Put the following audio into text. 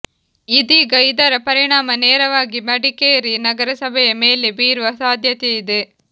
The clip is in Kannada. ಇದೀಗ ಇದರ ಪರಿಣಾಮ ನೇರವಾಗಿ ಮಡಿಕೇರಿ ನಗರಸಭೆಯ ಮೇಲೆ ಬೀರುವ ಸಾಧ್ಯತೆಯಿದೆ